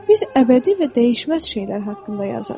Biz əbədi və dəyişməz şeylər haqqında yazarıq.